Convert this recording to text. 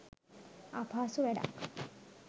අපහසු වැඩක්